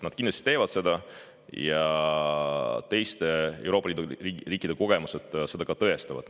Nad kindlasti, teiste Euroopa Liidu riikide kogemused seda ka tõestavad.